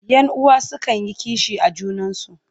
Yan uwa sukan yi kishi a junansu.